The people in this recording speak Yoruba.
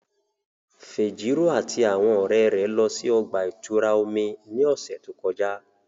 Fejiro ati awọn ọrẹ rẹ lọ si ọgba-ìturá omi ni ọsẹ to kọja.